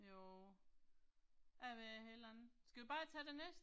Jo. Jeg ved det heller ikke, skal vi bare tage det næste?